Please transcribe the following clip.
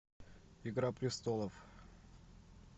игра престолов